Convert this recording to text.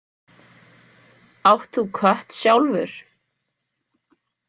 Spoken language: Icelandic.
Átt þú kött sjálfur?